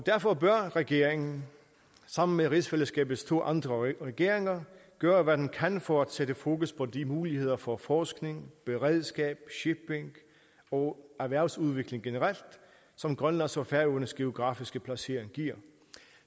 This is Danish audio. derfor bør regeringen sammen med rigsfællesskabets to andre regeringer gøre hvad den kan for at sætte fokus på de muligheder for forskning beredskab shipping og erhvervsudvikling generelt som grønlands og færøernes geografiske placering giver